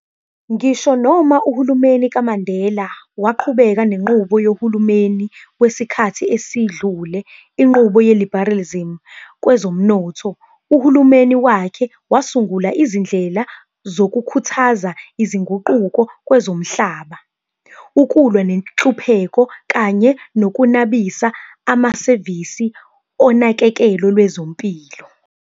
Ngisho noma uhulumeni kaMandela waqhubeka nenqubo yohulumeni wesikhathi esedlule inqubo ye-liberalism kwezomnotho, uhulumeni wakhe, wasungula izindlela zokukhuthaza izinguquko kwezomhlaba, ukulwa nenhlupheko, kanye nokunabisa amasevisi onakekelo lwezempilo.